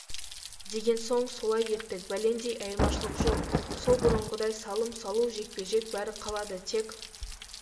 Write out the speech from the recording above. деген соң солай еттік бәлендей айырмашылық жоқ сол бұрынғыдай салым салу жекпе-жек бәрі қалады тек